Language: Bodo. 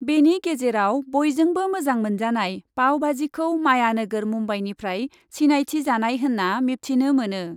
बेनि गेजेराव बयजोंबो मोजां मोनजानाय पावबाजिखौ मायानोगोर मुम्बाइनिफ्राय सिनायथिजानाय होन्ना मिबथिनो मोनो ।